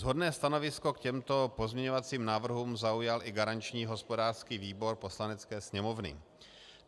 Shodné stanovisko k těmto pozměňovacím návrhům zaujal i garanční hospodářský výbor Poslanecké sněmovny.